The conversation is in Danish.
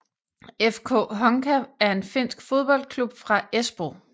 FK Honka er en finsk fodboldklub fra Espoo